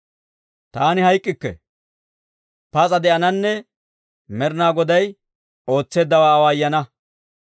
Taani hayk'k'ikke; pas'a de'ananne Med'inaa Goday ootseeddawaa awaayana.